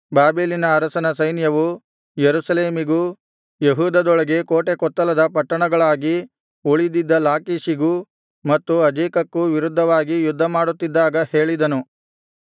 ಬಾಬೆಲಿನ ಅರಸನ ಸೈನ್ಯವು ಯೆರೂಸಲೇಮಿಗೂ ಯೆಹೂದದೊಳಗೆ ಕೋಟೆಕೊತ್ತಲದ ಪಟ್ಟಣಗಳಾಗಿ ಉಳಿದಿದ್ದ ಲಾಕೀಷಿಗೂ ಮತ್ತು ಅಜೇಕಕ್ಕೂ ವಿರುದ್ಧವಾಗಿ ಯುದ್ಧಮಾಡುತ್ತಿದ್ದಾಗ ಹೇಳಿದನು